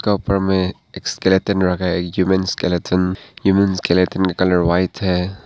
उसका उपर में एक स्केलटन रखा है ह्यूमन स्केलेटन । ह्यूमन स्केलेटन का कलर वाइट है।